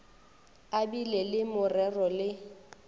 a bile le morero le